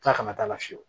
Tila kana k'a la fiyewu